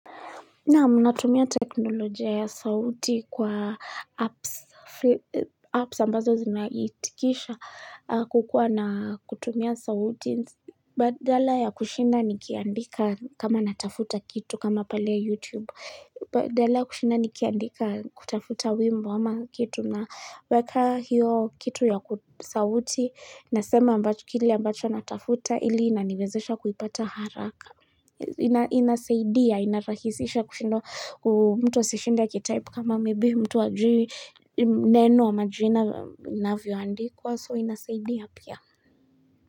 Naam natumia teknolojia ya sauti kwa apps ambazo zinaitikisha kukua na kutumia sauti. Badala ya kushina nikiandika kama natafuta kitu kama pale ya YouTube. Badala ya kushinda nikiandika kutafuta wimbo ama kitu na weka hiyo kitu ya sauti nasema ambacho kili ambacho natafuta ili inaniwezesha kuipata haraka. Inasaidia, inarahisisha kushindo mtu aseshinda kitaipu kama maybe mtu wajiri neno wa majina inavyoandikwa so inasaidia pia.